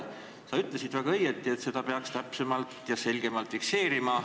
Sa ütlesid väga õigesti, et seda peaks täpsemalt ja selgemalt fikseerima.